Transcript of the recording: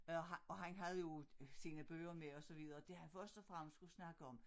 Øh og han og han havde jo sine bøger med og så videre det han først og fremmest skulle snakke om